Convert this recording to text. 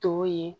To ye